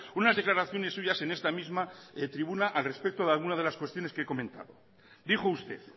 unas declaraciones suyas en esta misma tribuna al respecto de alguna de las cuestiones que he comentado dijo usted